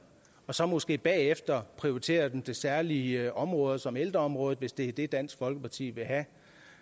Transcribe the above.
og så måske bagefter prioriterer dem til særlige områder som ældreområdet hvis det er det dansk folkeparti vil have